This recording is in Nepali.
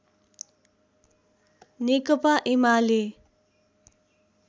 नेकपा एमाले